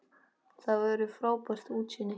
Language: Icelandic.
Þar verður frábært útsýni.